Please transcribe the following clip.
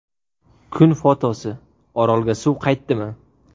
Kun fotosi: Orolga suv qaytdimi?.